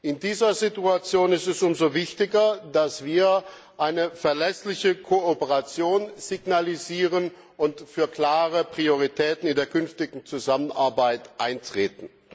In dieser Situation ist es umso wichtiger, dass wir eine verlässliche Kooperation signalisieren und für klare Prioritäten in der künftigen Zusammenarbeit eintreten.